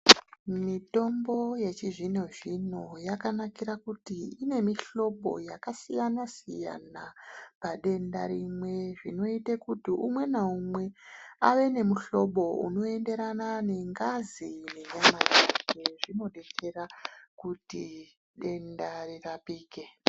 Mitombo yechizvino zvino yakanakira kuti ine mihlobo yakasiyana siyana padenda rimwe. Zvinoite kuti umwe naumwe ave nemuhlobo unoenderana nengazi yeropa rake. Zvinodetsera kuti denda rirapike.